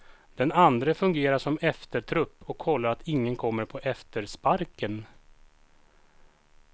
Den andre fungerar som eftertrupp och kollar att ingen kommer på eftersparken.